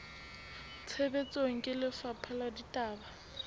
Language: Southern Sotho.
tshebetsong ke lefapha la ditaba